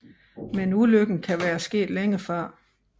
Men ulykken kan være sket længe før